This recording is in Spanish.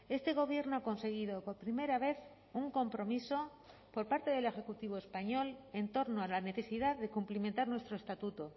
este gobierno ha conseguido por primera vez un compromiso por parte del ejecutivo español en torno a la necesidad de cumplimentar nuestro estatuto